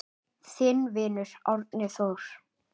Þinn vinur, Árni Þór.